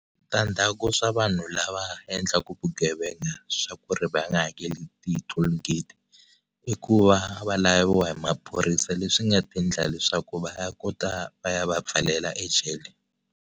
Switadzhaku swa vanhu lava endlaka vugevenga swa ku ri va nga hakeli ti toll gate i ku va va laviwa hi maphorisa leswi nga ta endla leswaku va ya kota va ya va pfalela ejele.